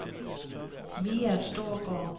Mia Storgaard